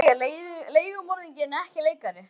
Ég er leigumorðingi en ekki leikari.